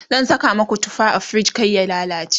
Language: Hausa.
zan Saka maku tufa a frij kar ya lallace